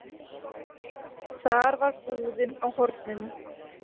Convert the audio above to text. Þar var búðin á horninu.